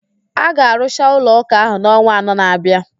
A ga arụcha ụlọ ụka ahụ n'ọnwa anọ na-abịa